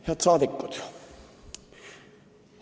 Head rahvasaadikud!